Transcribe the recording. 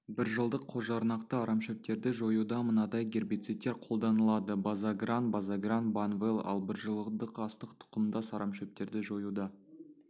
біржылдық қосжарнақты арамшөптерді жоюда мынадай гербицидтер қолданылады базагран базагран банвел ал біржылдық астық тұқымдас арамшөптерді жоюда